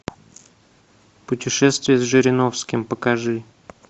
путешествие с жириновским покажи